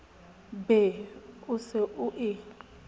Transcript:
be o se o e